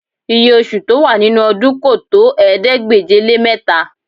Iye oṣù tó wà nínú ọdún kò tó ̀ẹẹ́dégbèje-lé-mẹ́ta